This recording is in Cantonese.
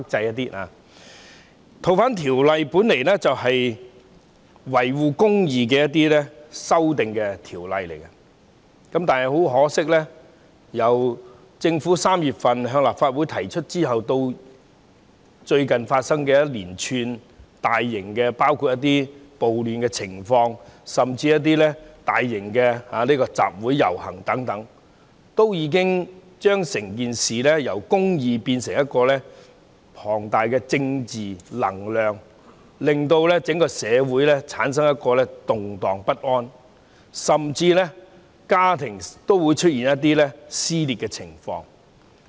《2019年逃犯及刑事事宜相互法律協助法例條例草案》原意是維護公義，但很可惜，由3月份政府向立法會提出《條例草案》至最近發生的一連串大型暴亂情況和大型集會遊行，已將整件事由維護公義變成龐大的政治能量，令整個社會動盪不安，甚至令家庭出現撕裂的情況。